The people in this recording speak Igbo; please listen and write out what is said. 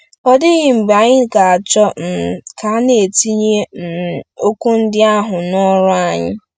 Ọ dịghị mgbe anyị ga-achọ um ka a na-etinye um okwu ndị ahụ n'ọrụ anyị!